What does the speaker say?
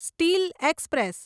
steel express